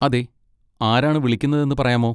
അതെ. ആരാണ് വിളിക്കുന്നതെന്ന് പറയാമോ?